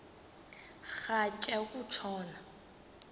rhatya uku tshona